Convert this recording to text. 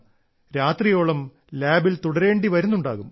രാത്രിയോളം ലാബിൽ തുടരേണ്ടി വരുന്നുണ്ടാകും